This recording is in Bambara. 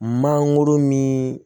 Mangoro min